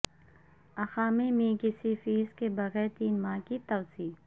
اقامے میں کسی فیس کے بغیر تین ماہ کی توسیع